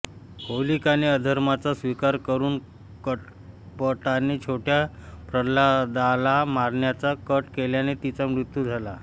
होलिकाने अधर्माचा स्वीकार करून कपटाने छोट्या प्रल्हादाला मारण्याचा कट केल्याने तिचा मृत्यू झाला